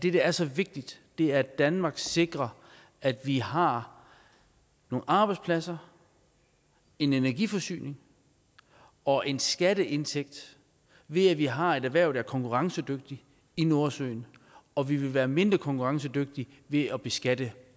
er så vigtigt er at danmark sikrer at vi har nogle arbejdspladser en energiforsyning og en skatteindtægt ved at vi har et erhverv der er konkurrencedygtigt i nordsøen og vi vil være mindre konkurrencedygtige ved at beskatte